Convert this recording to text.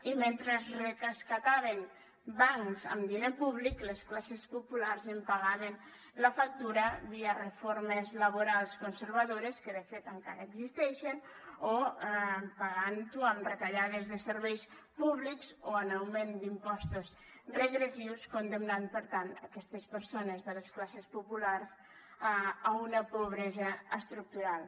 i mentre es rescataven bancs amb diner públic les classes populars en pagaven la factura via reformes laborals conservadores que de fet encara existeixen o pagant ho amb retallades de serveis públics o amb augment d’impostos regressius i es condemnaven per tant aquestes persones de les classes populars a una pobresa estructural